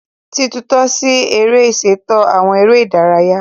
Titunto si ere ṣeto awọn ere idaraya